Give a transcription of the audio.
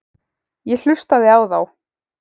Ég hlustaði á þá.